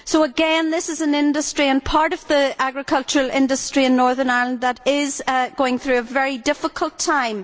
So, again, this is an industry and part of the agricultural industry in Northern Ireland which is going thorough a very difficult time.